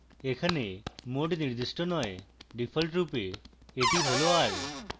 এখানে mode নির্দিষ্ট নয় ডিফল্টরূপে এটি হল r